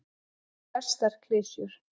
Eins og flestar klisjur.